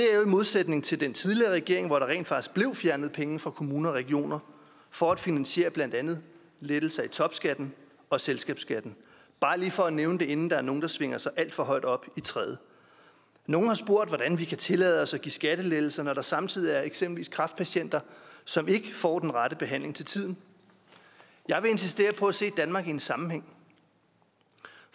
modsætning til den tidligere regering hvor der rent faktisk bliver fjernet penge fra kommuner og regioner for at finansiere blandt andet lettelse i topskatten og selskabsskatten bare lige for at nævne det inden der er nogle der svinger sig alt for højt op i træet nogle har spurgt hvordan vi kan tillade os at give skattelettelser når der samtidig er eksempelvis kræftpatienter som ikke får den rette behandling til tiden jeg vil insistere på at se danmark i en sammenhæng